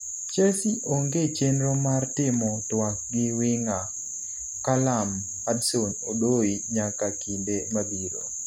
Chelsea onge chenro mar timo twak gi winga Callum Hudson Odoi nyaka kinde mabiro